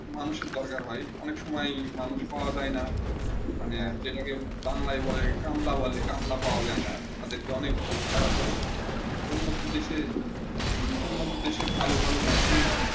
মানুষের দরকার হয়ে অনেক সময়ে মানুষ পৰা যায় না মানে বাঙ্গালয়ে বলে কামলা পৰা যায় না তাদের অনেক বেশি টাকা করছি করতে হয়ে উন্নত দেশে ভালো ভালো মেশিন